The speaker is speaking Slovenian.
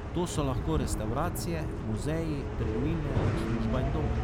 To so lahko restavracije, muzeji, trgovine, služba in dom.